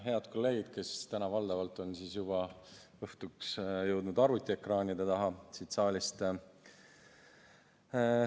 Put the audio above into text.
Head kolleegid, kes te olete valdavalt juba jõudnud siit saalist arvutiekraanide taha!